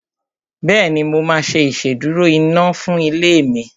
Bẹ́ẹ̀ni, mo máa ṣe ìsedúró iná fún ilé mi